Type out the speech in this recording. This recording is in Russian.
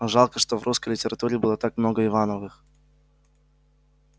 жалко что в русской литературе было так много ивановых